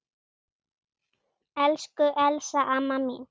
Elsku Elsa amma mín.